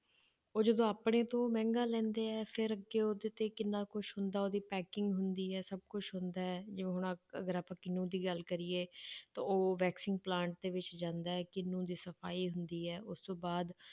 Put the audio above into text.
ਉਹ ਜਦੋਂ ਆਪਣੇ ਤੋਂ ਮਹਿੰਗਾ ਲੈਂਦੇ ਹੈ ਫਿਰ ਅੱਗੇ ਉਹਦੇ ਤੇ ਕਿੰਨਾ ਕੁਛ ਹੁੰਦਾ, ਉਹਦੀ packing ਹੁੰਦੀ ਹੈ ਸਭ ਕੁਛ ਹੁੰਦਾ ਹੈ, ਜਿਵੇਂ ਹੁਣ ਆਹ ਅਗਰ ਆਪਾਂ ਕਿਨੂੰ ਦੀ ਗੱਲ ਕਰੀਏ ਤਾਂ ਉਹ vaccine plant ਦੇ ਵਿੱਚ ਜਾਂਦਾ ਹੈ ਕਿਨੂੰ ਦੀ ਸਫ਼ਾਈ ਹੁੰਦੀ ਹੈ, ਉਸ ਤੋਂ ਬਾਅਦ